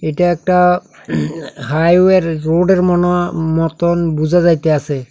এটা একটা highway road -এর মনো মতন বুঝা যাইতাসে।